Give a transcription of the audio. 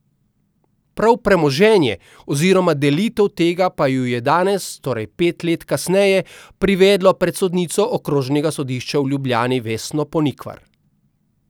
Prav premoženje oziroma delitev tega pa ju je danes, torej pet let kasneje, privedlo pred sodnico Okrožnega sodišča v Ljubljani Vesno Ponikvar.